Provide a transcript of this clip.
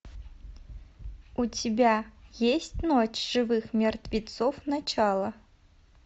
у тебя есть ночь живых мертвецов начало